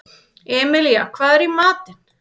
Emilía, hvað er í matinn?